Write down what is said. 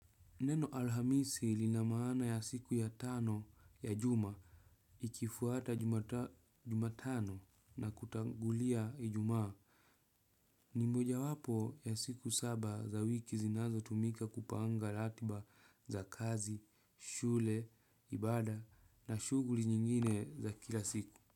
Neno Alhamisi lina maana ya siku ya tano ya juma likifuata jumatano na kutangulia ijumaa. Ni mojawapo ya siku saba za wiki zinazotumika kupanga ratiba za kazi, shule, ibada na shughuli nyingine za kila siku.